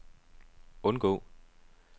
undgå